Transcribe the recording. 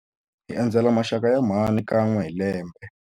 Hi endzela maxaka ya mhani kan'we hi lembe.